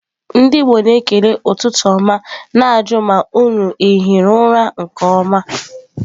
Ndi Igbo na-ekele ututu oma na-aju ma unu ahiri ura nke oma.